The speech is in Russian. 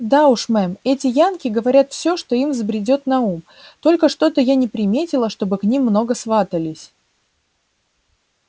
да уж мэм эти янки говорят все что им взбредёт на ум только что-то я не приметила чтобы к ним много сватались